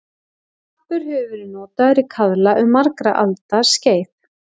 Hampur hefur verið notaður í kaðla um margra alda skeið.